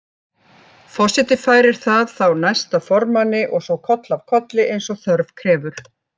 Forseti færir það þá næsta formanni og svo koll af kolli eins og þörf krefur.